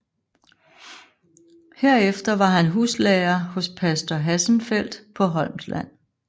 Herefter var han huslærer hos pastor Hassenfeldt på Holmsland